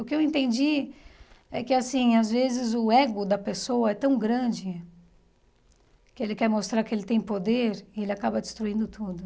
O que eu entendi é que assim às vezes o ego da pessoa é tão grande que ele quer mostrar que ele tem poder e ele acaba destruindo tudo.